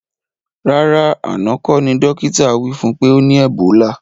Rárá àná kọ́ ní dókítà wí fún pé ọ ní ẹ̀bólà